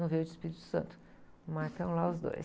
Não veio do Espírito Santo, mas estão lá os dois.